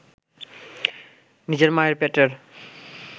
নিজের মায়ের পেটের